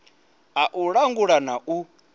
a u langula na u